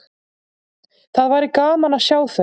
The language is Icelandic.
Það væri gaman að sjá þau.